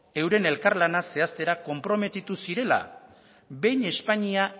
euren elkarlana zehaztera konprometitu zirela behin espainia